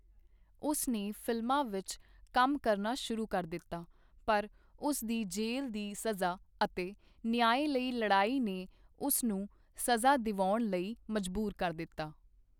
ਉਸ ਨੇ ਫ਼ਿਲਮਾਂ ਵਿੱਚ ਕੰਮ ਕਰਨਾ ਸ਼ੁਰੂ ਕਰ ਦਿੱਤਾ, ਪਰ ਉਸ ਦੀ ਜੇਲ੍ਹ ਦੀ ਸਜ਼ਾ ਅਤੇ ਨਿਆਂ ਲਈ ਲੜਾਈ ਨੇ ਉਸ ਨੂੰ ਸਜ਼ਾ ਦਿਵਾਉਣ ਲਈ ਮਜਬੂਰ ਕਰ ਦਿੱਤਾ।